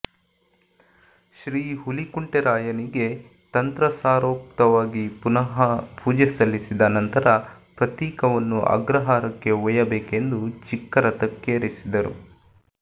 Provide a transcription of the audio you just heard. ಶ್ರೀಹುಲಿಕುಂಟೆರಾಯನಿಗೆ ತಂತ್ರಸಾರೋಕ್ತವಾಗಿ ಪುನಃ ಪೂಜೆ ಸಲ್ಲಿಸಿದ ನಂತರ ಪ್ರತೀಕವನ್ನು ಅಗ್ರಹಾರಕ್ಕೆ ಒಯ್ಯಬೇಕೆಂದು ಚಿಕ್ಕ ರಥಕ್ಕೆರಿಸಿದರು